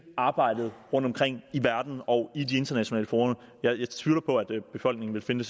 arbejdet rundtomkring i verden og i de internationale fora jeg jeg tvivler på at befolkningen ville finde